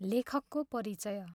लेखकको परिचय